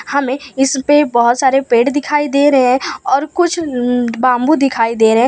हमें इस पे बहोत सारे पेड़ दिखाई दे रहे हैं और कुछ बाबू दिखाई दे रहे हैं।